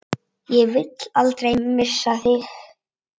Ég vil aldrei missa þig.